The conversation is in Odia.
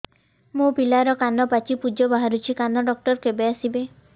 ମୋ ପିଲାର କାନ ପାଚି ପୂଜ ବାହାରୁଚି କାନ ଡକ୍ଟର କେବେ ଆସିବେ